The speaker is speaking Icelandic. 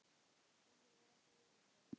Því hefur ekki verið breytt.